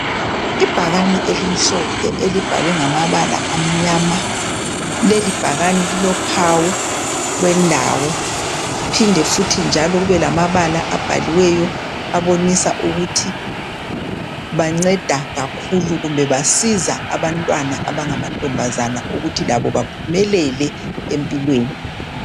Ibhakane elimhlophe elibhalwe ngamabala amnyama, leli bhakane lilophawu lwendawo phinde futhi njalo kube lamabala abhaliweyo abonisa ukuthi banceda kakhulu kumbe basiza abantwana abangamantombazana ukuthi labo baphumelele empilweni.